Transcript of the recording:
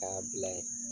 K'a bila ye